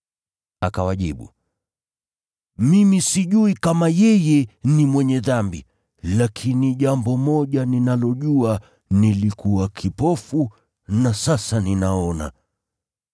Akawajibu, “Mimi sijui kama yeye ni mwenye dhambi. Lakini jambo moja ninalojua, nilikuwa kipofu na sasa ninaona.”